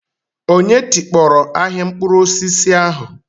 Onye tikpọrọ ahịa mkpụrụ osisi ahu?